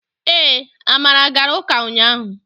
ee, amara gara uka unyahu